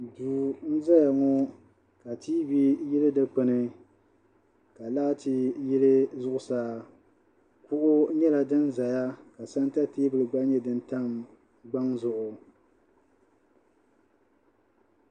Duu n-zaya ŋɔ ka tiivi yili dukpuni ka laati yili zuɣusaa kuɣu nyɛla din zaya ka santa teebuli gba nyɛ din tam gbaŋ zuɣu.